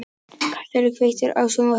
Kastíel, kveiktu á sjónvarpinu.